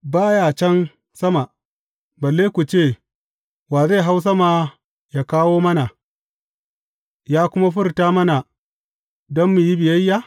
Ba ya can sama, balle ku ce, Wa zai hau sama yă kawo mana, yă kuma furta mana, don mu yi biyayya?